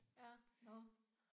Ja nåh